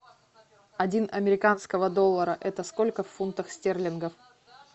один американского доллара это сколько в фунтах стерлингов